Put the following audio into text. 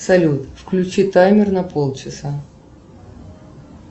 салют включи таймер на полчаса